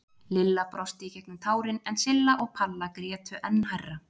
Lilla brosti í gegnum tárin en Silla og Palla grétu enn hærra.